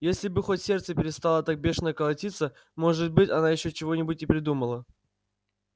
если бы хоть сердце перестало так бешено колотиться может быть она ещё чего-нибудь и придумала